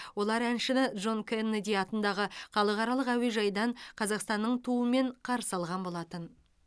олар әншіні джон кеннеди атындағы халықаралық әуежайдан қазақстанның туымен қарсы алған болатын